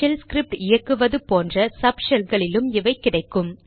shell script இயக்குவது போன்ற sub ஷெல்களிலும் இவை கிடைக்கும்